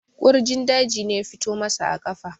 kurjin daji ne ya fito masa a kafa